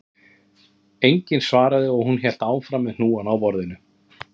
Enginn svaraði og hún hélt áfram með hnúana á borðinu